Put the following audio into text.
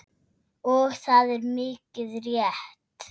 Og það er mikið rétt.